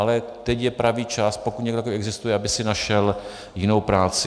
Ale teď je pravý čas, pokud někdo takový existuje, aby si našel jinou práci.